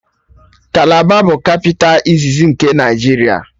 Kalaba bụ kapịta iziz nke Naịjiria